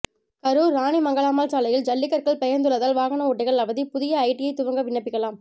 கரூர் ராணி மங்கம்மாள் சாலையில் ஜல்லிக்கற்கள் பெயர்ந்துள்ளதால் வாகன ஓட்டிகள் அவதி புதிய ஐடிஐ துவங்க விண்ணப்பிக்கலாம்